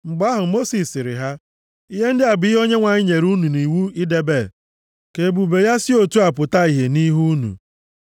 Mgbe ahụ, Mosis sịrị ha, “Ihe ndị a bụ ihe Onyenwe anyị nyere unu nʼiwu idebe, ka ebube ya si otu a pụta ìhè nʼihu unu.”